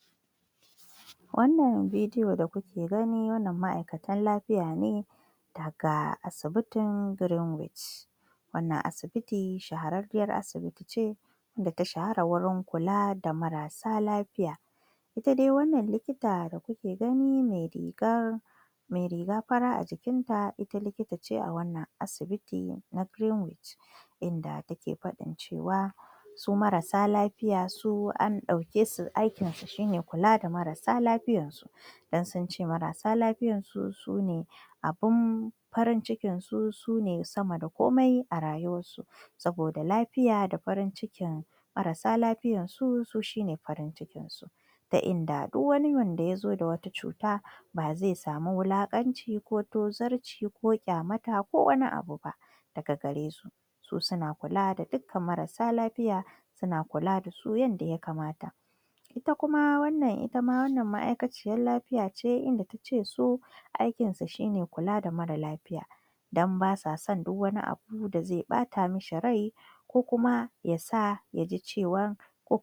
A cikin wannan hoto yana nuna wasu aladu acikin keji na ƙarfe, wanda ke nuna da cewa ana kiwonsa ne a cikin gonar kiwon aladu aladun suna kallon waje a cikin shingen ƙarfe kuma yanayin wajen yana nuna cewa ana kiwonsu ne don kasuwanci ko amfanin gida hoton yana nuna kiwon dabbobi musammman aladu, wanda akeyi domin samr da nama da sauran kayayyakin amfani gida ana iya fahimtar cewa ana kiwon aladu a cikin keji mai tsari wanda zai iya zama hanyar kula da tsafta da kuma kiwon lafiya kiwon aladu yana daga cikin samun hanyoyin kuɗin shiga a ƙasashen da ake cin naman aladen akwai matsaloli da hanyoyin magance su kamar cunkoson alade akeji idan wuri yake idan wuri ya cukushe, hakan zai iya janyo matsalar lafiya ko cuta tsafta dole a kula da tsafta wurin kiwo don gujewa yaɗuwar cututtuka kyautata yanayin kiwo idan ana kiwo idan ana kiwon aladu don kasuwanci yanada kyau a samr da ishasshen sarari da kulawa ta likitan dabbobi a taƙaiceda wannan hoton a taƙaiceda wannan hoton yana wakiltar rayuwar dabbobi a gonar kiwo yadda ake kula dasu don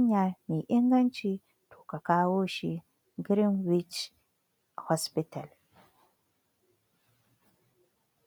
amfanin abinci ko kasuwanci